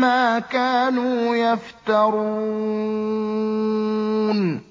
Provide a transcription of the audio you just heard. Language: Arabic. مَّا كَانُوا يَفْتَرُونَ